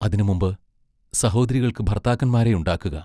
അതിനു മുമ്പ് സഹോദരികൾക്ക് ഭർത്താക്കന്മാരെയുണ്ടാക്കുക.